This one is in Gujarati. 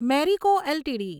મેરિકો એલટીડી